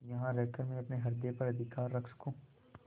यहाँ रहकर मैं अपने हृदय पर अधिकार रख सकँू